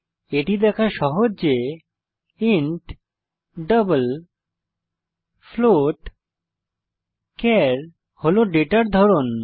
এটি দেখা সহজ যে ইন্ট ডাবল ফ্লোট চার হল ডেটার ধরন